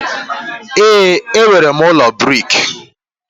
ee, enwere m ụlọ brik